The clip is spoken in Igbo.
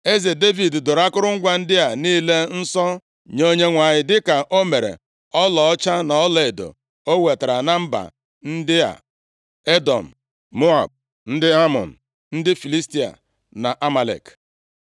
Eze Devid doro akụrụngwa ndị a niile nsọ nye Onyenwe anyị, dịka o mere ọlaọcha na ọlaedo o wetara na mba ndị a: Edọm, Moab, ndị Amọn, ndị Filistia na Amalek.